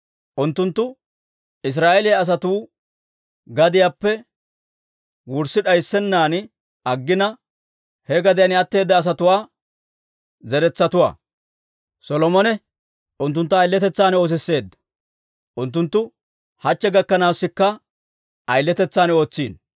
unttunttu Israa'eeliyaa asatuu gadiyaappe wurssi d'ayssennan aggina, he gadiyaan atteeda asatuwaa zeretsatuwaa. Solomone unttunttu ayiletetsaan oosisseedda; unttunttu hachche gakkanaasikka ayiletetsaan ootsino.